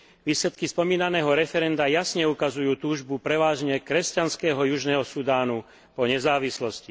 Výsledky spomínaného referenda jasne ukazujú túžbu prevažne kresťanského južného Sudánu o nezávislosť.